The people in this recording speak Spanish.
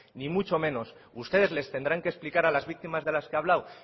ni mucho menos ustedes les tendrán que explicar a las víctimas de las que he hablado